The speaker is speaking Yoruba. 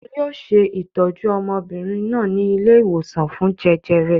Wọn yóò ṣe ìtọ́jú ọmọbìnrin náà ní ilé-ìwòsàn fún jẹjẹrẹ.